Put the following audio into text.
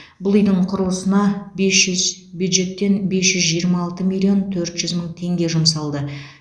бұл үйдің құрылысына бесшүзбюджеттен бес жүз жиырма алты миллион төрт жүз мың теңге жұмсалды